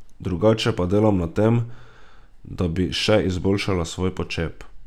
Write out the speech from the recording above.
Drugače pa delam na tem, da bi še izboljšala svoj počep.